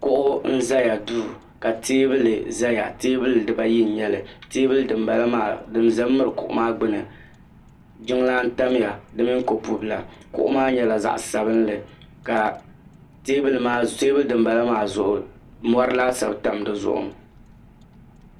kuɣu n ʒɛ duu ka teebuli ʒɛya teebuli dibayi n nyɛli teebuli din ʒɛ n miri kuɣu maa gbuni jiŋlaa n tamya di mini kopu bila kuɣu maa nyɛla zaɣ sabinli ka teebuli din bala maa zuɣu mori laasabu tam dizuɣu